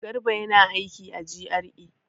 Garba yana aiki a GRA.